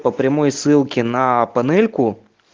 по прямой ссылке на панельку